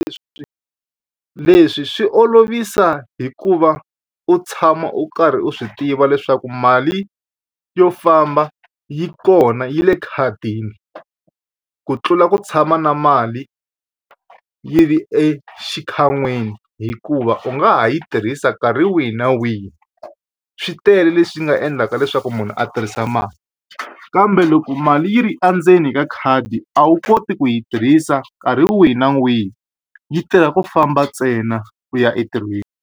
Leswi leswi swi olovisa hikuva u tshama u karhi u swi tiva leswaku mali yo famba yi kona yi le khadini ku tlula ku tshama na mali yi ri exikhan'wini hikuva u nga ha yi tirhisa nkarhi wihi na wihi swi tele leswi nga endlaka leswaku munhu a tirhisa mali kambe loko mali yi ri endzeni ka khadi a wu koti ku yi tirhisa nkarhi wihi na wihi yi tirha ku famba ntsena ku ya entirhweni.